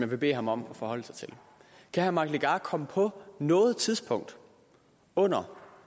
vil bede ham om at forholde sig til kan herre mike legarth komme på noget tidspunkt under